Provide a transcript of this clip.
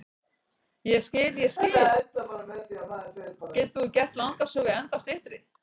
Ég skil, ég skil, getur þú gert langa sögu ennþá styttri?